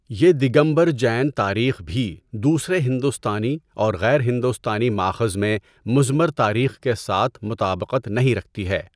یہ دگمبرا جین تاریخ بھی دوسرے ہندوستانی اور غیر ہندوستانی مآخذ میں مضمر تاریخ کے ساتھ مطابقت نہیں رکھتی ہے۔